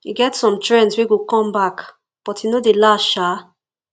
e get some trends wey go come back but e no dey last sha